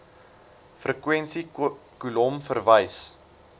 frekwensie kolom verwys